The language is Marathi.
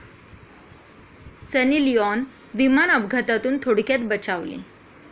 सनी लिआॅन विमान अपघातातून थोडक्यात बचावली